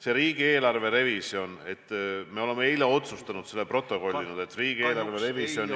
See riigieelarve revisjon – eile me otsustasime ja protokollisime, et riigieelarve revisjoni ...